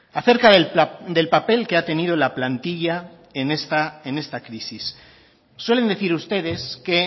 acerca del papel que ha tenido la plantilla en esta crisis suelen decir ustedes que